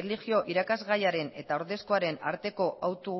erlijio irakasgaiaren eta ordezkoaren arteko hautu